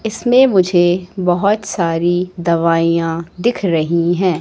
इसमें मुझे बहोत सारी दवाइयां दिख रही हैं।